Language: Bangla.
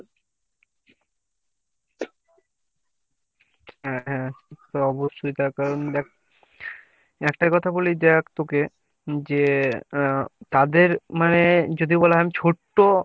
হ্যাঁ হ্যাঁ সে অবশ্যই তার কারণ দেখ একটা কথা বলি দেখ তোকে যে আহ তাদের মানে যদি বলা হয় ছোট্ট